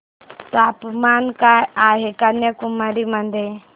तापमान काय आहे कन्याकुमारी मध्ये